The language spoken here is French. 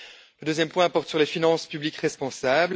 Le deuxième point porte sur les finances publiques responsables.